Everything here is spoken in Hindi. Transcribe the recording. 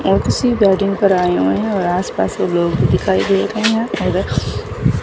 वेडिंग पर आए हुए है और आस पास सब लोग दिखाई दे रहे हैं --